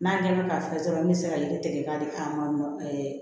N'a ɲɛdɔn ka fisa dɔrɔn an bɛ se ka yiri tigɛ k'a di an ma